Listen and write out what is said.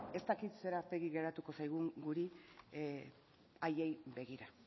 ez dakit zer aurpegi geratuko zaigun guri haiei begira